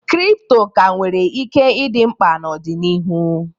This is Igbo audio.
Kripto ka nwere ike ịdị mkpa n'ọdịnihu.